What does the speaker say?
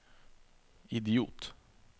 idiot